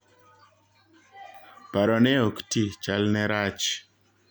Paro ne oktii "chal ne rach.